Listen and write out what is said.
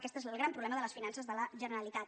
aquest és el gran problema de les finances de la generalitat